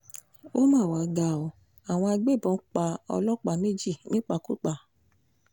ó mà wàá ga ọ́ àwọn agbébọn pa ọlọ́pàá méjì nípakúpa